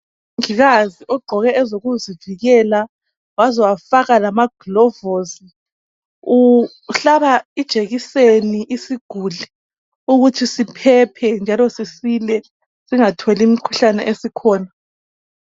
Umongikazi ogqoke ezokuzivikela waze wafaka lama glovosi. Uhlaba ijekiseni isiguli ukuthi siphephe njalo sisile singatholi imikhuhlane esikhona.